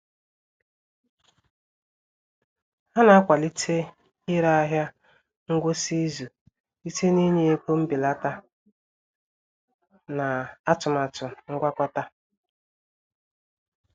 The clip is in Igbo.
Ha na-akwalite ire ahịa ngwụsị izu site n'ịnye ego mbelata na atụmatụ ngwakọta